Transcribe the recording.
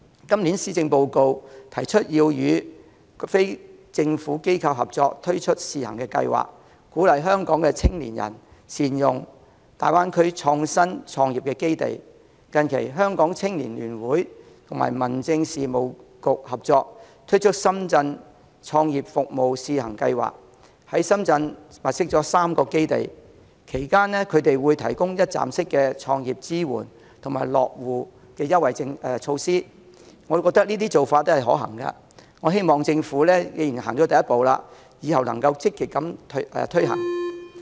今年的施政報告提出要與非政府機構合作推出試行計劃，鼓勵香港青年人善用大灣區創新創業基地，近期香港青年聯會與民政事務局合作，推出"深圳創業服務試行計劃"，在深圳物色了3個基地，提供一站式的創業支援及落戶優惠措施，我們認為這些是可行的做法，既然政府已走出第一步，希望往後積極推行。